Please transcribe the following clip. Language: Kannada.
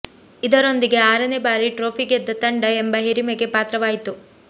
ಇದರೊಂದಿಗೆ ಆರನೇ ಬಾರಿ ಟ್ರೋಫಿ ಗೆದ್ದ ತಂಡ ಎಂಬ ಹಿರಿಮೆಗೆ ಪಾತ್ರವಾಯಿತು